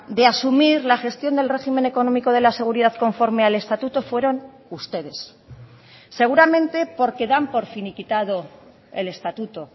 de asumir la gestión del régimen económico de la seguridad conforme al estatuto fueron ustedes seguramente porque dan por finiquitado el estatuto